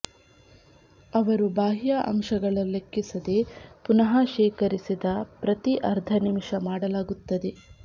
ಅವರು ಬಾಹ್ಯ ಅಂಶಗಳ ಲೆಕ್ಕಿಸದೆ ಪುನಃಶೇಖರಿಸಿದ ಪ್ರತಿ ಅರ್ಧ ನಿಮಿಷ ಮಾಡಲಾಗುತ್ತದೆ